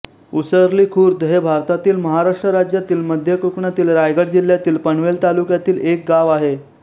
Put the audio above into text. ऊसर्ली खुर्द हे भारतातील महाराष्ट्र राज्यातील मध्य कोकणातील रायगड जिल्ह्यातील पनवेल तालुक्यातील एक गाव आहे